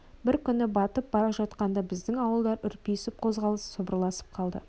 бір күні күн батып бара жатқанда біздің ауылдар үрпиісіп қозғалысып сыбырласып қалды